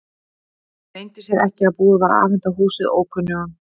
Það leyndi sér ekki að búið var að afhenda húsið ókunnugum.